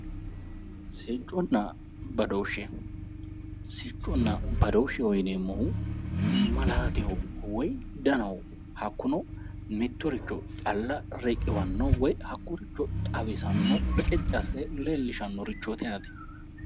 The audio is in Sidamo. Sicconna badooshshe. Sicconna badooshsheho yineemmo woyite malaateho woyi danaho. Hakkuno mittiricho calla riqiwanno woyi hakkoyericho xawisanno reqecci asse leellishannorichooti yaate.